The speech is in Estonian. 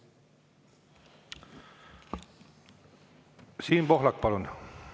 Siim Pohlak, palun!